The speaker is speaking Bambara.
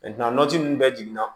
ninnu bɛɛ jiginna